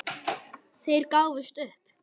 Þeir gáfust upp.